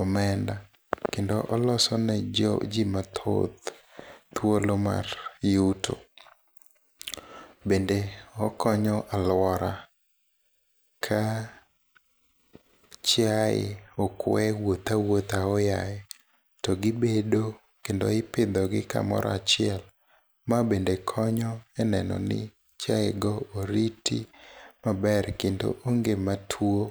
omenda, kendo olosene jii mathoth thuolo mar yuto. Bende okonyo aluora, ka chiaye okwe wuotha awuotha aoyaye, to gibedo, kendo ipidhogi kamora achiel. Ma bende konyo enenoni chiayego oriti maber, kendo onge matuo.